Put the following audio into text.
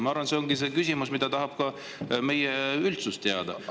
Ma arvan, et see on asi, mida tahab ka meie üldsus teada.